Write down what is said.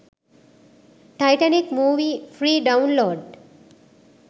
taitanic movie free download